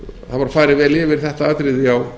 hafa farið vel yfir þetta atriði á